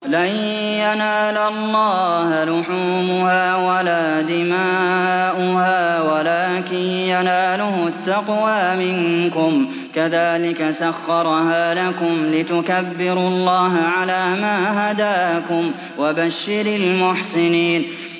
لَن يَنَالَ اللَّهَ لُحُومُهَا وَلَا دِمَاؤُهَا وَلَٰكِن يَنَالُهُ التَّقْوَىٰ مِنكُمْ ۚ كَذَٰلِكَ سَخَّرَهَا لَكُمْ لِتُكَبِّرُوا اللَّهَ عَلَىٰ مَا هَدَاكُمْ ۗ وَبَشِّرِ الْمُحْسِنِينَ